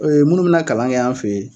E munnu be na kalan kɛ an fe yen